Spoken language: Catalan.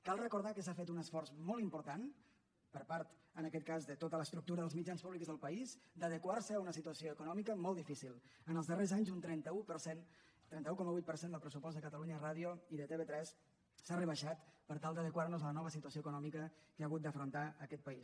cal recordar que s’ha fet un esforç molt important per part en aquest cas de tota l’estructura dels mitjans públics del país d’adequar se a una situació econòmica molt difícil en els darrers anys un trenta un per cent trenta un coma vuit per cent del pressupost de catalunya ràdio i de tv3 s’ha rebaixat per tal d’adequar nos a la nova situació econòmica que ha hagut d’afrontar aquest país